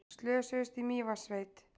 Slösuðust í Mývatnssveit